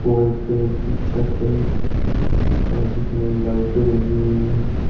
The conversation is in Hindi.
व्हाइट कलर की छत है और जिसमें लाइटें लगी हुई है।